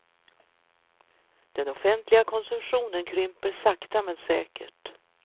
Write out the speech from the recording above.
Den offentliga konsumtionen krymper sakta men säkert.